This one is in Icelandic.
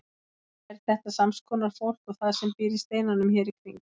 Er þetta sams konar fólk og það sem býr í steinunum hér í kring?